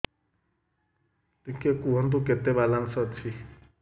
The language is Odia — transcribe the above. ଟିକେ କୁହନ୍ତୁ କେତେ ବାଲାନ୍ସ ଅଛି